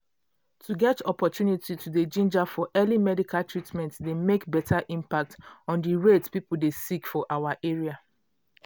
to get opportunity to dey ginger for early medical treatment dey make beta impact on di rate people dey sick for our area.